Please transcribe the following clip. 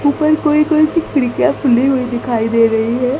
ऊपर कोई कोई सी खिड़कियां खुली हुई दिखाई दे रही है।